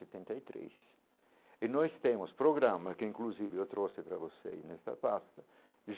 Setenta e três e nós temos programas que, inclusive, eu trouxe para vocês nesta pasta.